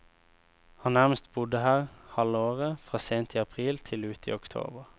Han nærmest bodde her halve året, fra sent i april, til ut i oktober.